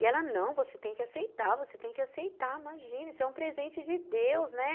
E ela, não, você tem que aceitar, você tem que aceitar, imagina, isso é um presente de Deus, né.